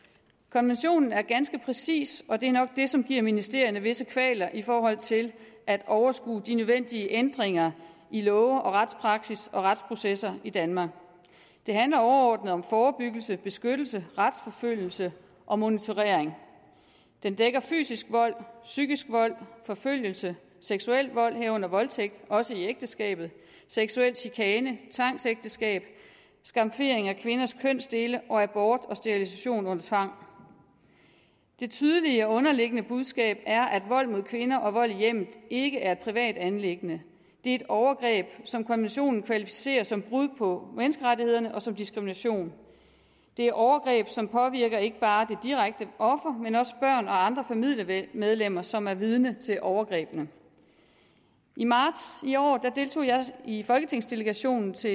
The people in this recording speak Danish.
konventionen er ganske præcis og det er nok det som giver ministerierne visse kvaler i forhold til at overskue de nødvendige ændringer i love og retspraksis og retsprocesser i danmark det handler overordnet om forebyggelse beskyttelse retsforfølgelse og monitorering den dækker fysisk vold psykisk vold forfølgelse seksuel vold herunder voldtægt også i ægteskabet seksuel chikane tvangsægteskab skamfering af kvinders kønsdele og abort og sterilisation under tvang det tydelige og underliggende budskab er at vold mod kvinder og vold i hjemmet ikke er et privat anliggende det er et overgreb som konventionen kvalificerer som brud på menneskerettighederne og som diskrimination det er overgreb som påvirker ikke bare det direkte offer men også børn og andre familiemedlemmer som er vidne til overgrebene i marts i år deltog jeg i folketingsdelegationen til